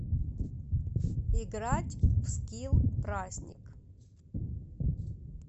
играть в скилл праздник